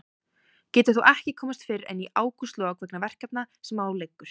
Getur þó ekki komist fyrr en í ágústlok vegna verkefna sem á liggur.